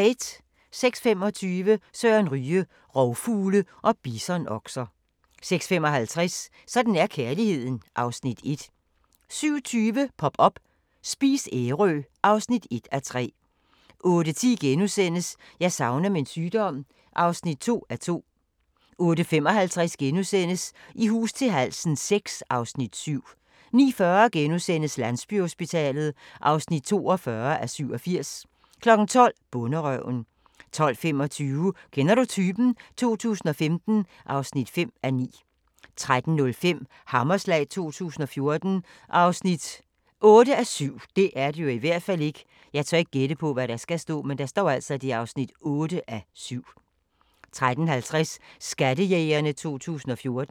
06:25: Søren Ryge: Rovfugle og bisonokser 06:55: Sådan er kærligheden (Afs. 1) 07:20: Pop up – Spis Ærø (1:3) 08:10: Jeg savner min sygdom (2:2)* 08:55: I hus til halsen VI (Afs. 7)* 09:40: Landsbyhospitalet (42:87)* 12:00: Bonderøven 12:25: Kender du typen? 2015 (5:9) 13:05: Hammerslag 2014 (8:7) 13:50: Skattejægerne 2014